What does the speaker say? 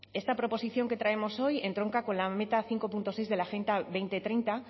esta proposición que traemos hoy entronca con la meta cinco punto seis de la agenda dos mil treinta